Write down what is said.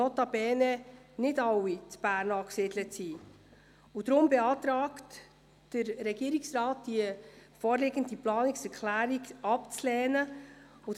Nun geht es noch darum, ob wir diese Planungserklärung überweisen wollen.